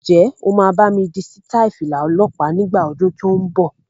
Ǹjẹ́ o máa bámi di sítai Fìlà ọlọ́pa nígbà ọdún tó ń bọ̀?